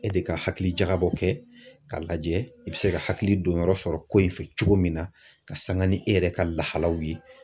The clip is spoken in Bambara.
E de ka hakilijakabɔ kɛ k'a lajɛ i bɛ se ka hakili donyɔrɔ sɔrɔ ko in fɛ cogo min na ka sanga ni e yɛrɛ ka lahalaw ye